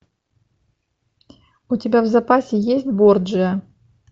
у тебя в запасе есть борджиа